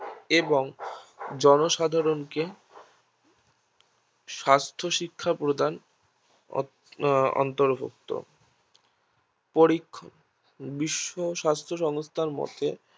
এবং জনসাধারণকে স্বাস্থ্য শিক্ষা প্রদান অন্তর্ভুক্ত বিশ্ব স্বাস্থ্য সংস্থার মতে